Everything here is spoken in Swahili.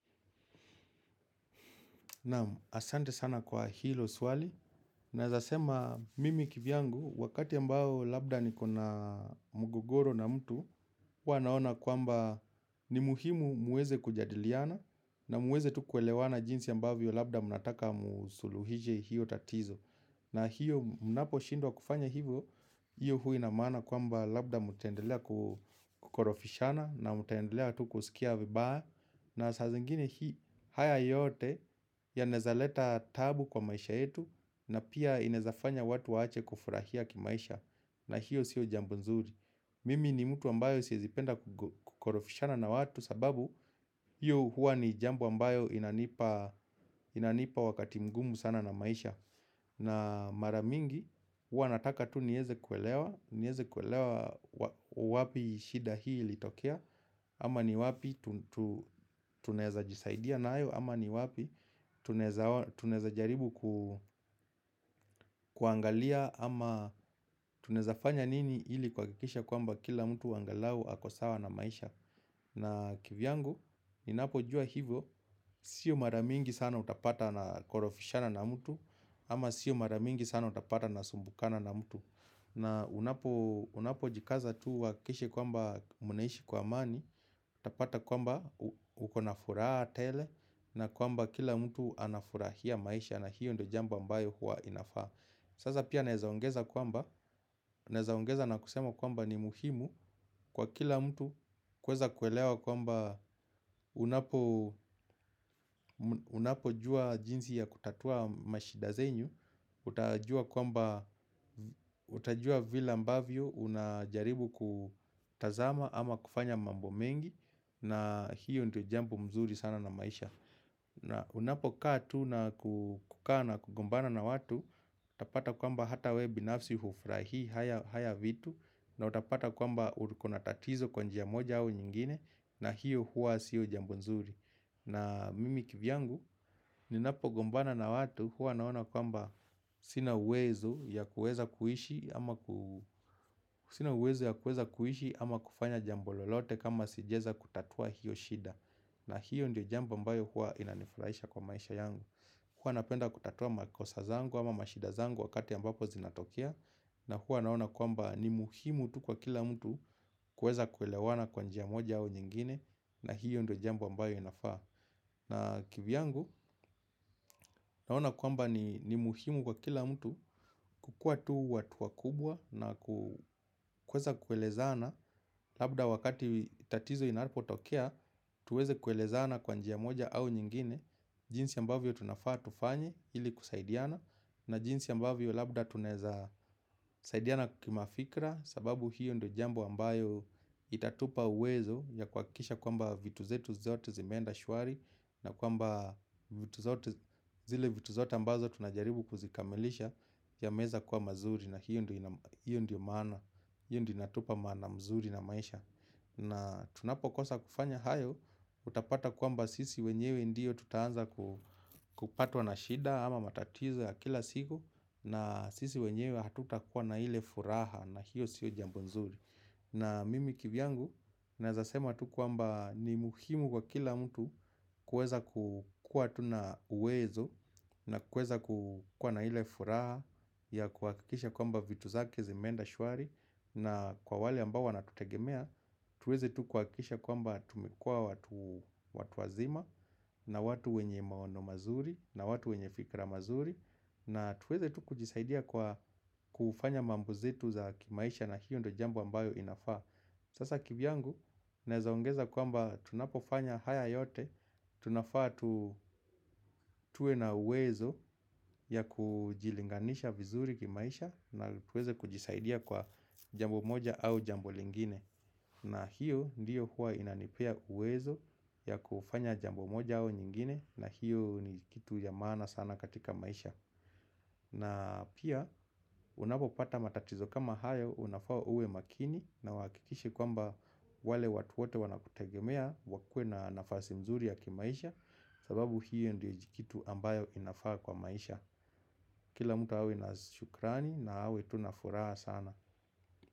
Naam ahsante sana kwa hilo swali. Naeza sema mimi kivyangu wakati ambao labda nikona mgogoro na mtu huwa naona kwamba ni muhimu muweze kujadiliana na muweze tu kuelewana jinsi ambavyo labda mnataka msuluhishe hiyo tatizo. Na hiyo mnaposhindwa kufanya hivyo hiyo huwa ina maana kwamba labda mtaendelea kukorofishana na mtaendelea tu kusikia vibaya. Na saa zingine hii haya yote yanaeza leta taabu kwa maisha yetu na pia inaeza fanya watu waache kufurahia ki maisha na hiyo sio jambo nzuri. Mimi ni mtu ambayo siezi penda kukorofishana na watu sababu hio hua ni jambo ambayo inanipa wakati mgumu sana na maisha. Na mara mingi huwa nataka tu nieze kuelewa wapi shida hii ilitokea. Ama ni wapi tunaeza jisaidia nayo. Ama ni wapi tunaeza jaribu kuangalia. Ama tunaeza fanya nini ili kuhakikisha kwamba kila mtu angalau ako sawa na maisha. Na kivyangu ninapo jua hivyo. Sio mara mingi sana utapata na korofishana na mtu. Ama sio mara mingi sana utapata nasumbukana na mtu na unapo jikaza tu uhakikishe kwamba mnaishi kwa amani. Utapata kwamba ukona furaha tele. Na kwamba kila mtu anafurahia maisha. Na hiyo ndo jambo ambayo huwa inafaa. Sasa pia naeza ongeza kwamba naeza ongeza na kusema kwamba ni muhimu kwa kila mtu kuweza kuelewa kwamba unapo jua jinsi ya kutatua mashida zenyu utajua kwamba utajua vile ambavyo unajaribu kutazama ama kufanya mambo mengi na hiyo ndo jambo mzuri sana na maisha na unapo kaa tu na kukaa na kugombana na watu utapata kwamba hata wewe binafsi hufurahii haya vitu na utapata kwamba uko na tatizo kwa njia moja au nyingine na hiyo hua siyo jambo nzuri na mimi kivyangu ninapogombana na watu hua naona kwamba sina uwezo ya kueza kuishi ama kufanya jambo lolote kama sija eza kutatua hiyo shida. Na hiyo ndio jambo ambayo hua inanifurahisha kwa maisha yangu. Hua napenda kutatua makosa zangu ama mashida zangu wakati ambapo zinatokea. Na hua naona kwamba ni muhimu tu kwa kila mtu kueza kuelewana kwa njia moja au nyingine. Na hiyo ndio jambo ambayo inafaa. Na kivyangu naona kwamba ni muhimu kwa kila mtu kukua tu watu wakubwa na kueza kuelezana. Labda wakati tatizo inapo tokea tuweze kuelezana kwa njia moja au nyingine. Jinsi ambavyo tunafaa tufanye ili kusaidiana. Na jinsi ambavyo labda tunaeza saidiana ki mafikra. Sababu hiyo ndo jambo ambayo itatupa uwezo ya kuhakikisha kwamba vitu zetu zote zimeenda shwari. Na kwamba zile vitu zote ambazo tunajaribu kuzikamilisha yameeza kuwa mazuri na hiyo ndio maana. Hiyo ndio inatupa maana mzuri na maisha. Na tunapokosa kufanya hayo utapata kwamba sisi wenyewe ndio tutaanza kupatwa na shida ama matatizo ya kila siku. Na sisi wenyewe hatutakuwa na ile furaha na hiyo sio jambo nzuri. Na mimi kivyangu naeza sema tu kwamba ni muhimu kwa kila mtu kuweza kukua tu na uwezo na kuweza kukua na ile furaha ya kuhakikisha kwamba vitu zake zimeenda shwari na kwa wale ambao wanatutegemea tuweze tu kuhakikisha kwamba tumekua watu wazima na watu wenye maono mazuri na watu wenye fikra mazuri. Na tuweze tu kujisaidia kwa kufanya mambo zetu za kimaisha na hiyo ndo jambo ambayo inafaa. Sasa kivyangu naeza ongeza kwamba tunapofanya haya yote tunafaa tuwe na uwezo ya kujilinganisha vizuri kimaisha na tuweze kujisaidia kwa jambo moja au jambo lingine. Na hiyo ndiyo huwa inanipea uwezo ya kufanya jambo moja au nyingine. Na hiyo ni kitu ya maana sana katika maisha. Na pia unapopata matatizo kama haya unafaa uwe makini na uhakikishe kwamba wale watu wote wana kutegemea wakue na nafasi nzuri ya ki maisha. Sababu hiyo ndiyo jikitu ambayo inafaa kwa maisha. Kila mtu awe na shukrani na awe tu na furaha sana.